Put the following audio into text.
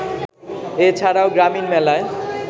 এ ছাড়াও গ্রামীণ মেলায়